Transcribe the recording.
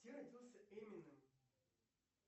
где родился эминем